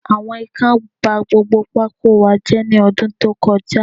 Àwọn Ikán ba gbogbo pákó wa jé ní ọdún tó kọ já